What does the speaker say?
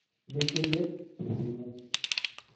Mikilej te simu.